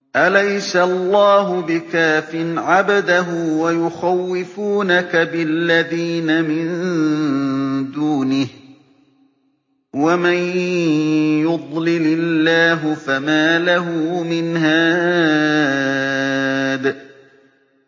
أَلَيْسَ اللَّهُ بِكَافٍ عَبْدَهُ ۖ وَيُخَوِّفُونَكَ بِالَّذِينَ مِن دُونِهِ ۚ وَمَن يُضْلِلِ اللَّهُ فَمَا لَهُ مِنْ هَادٍ